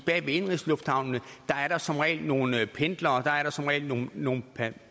bag indenrigslufthavnene er der som regel nogle pendlere og der er der som regel nogle nogle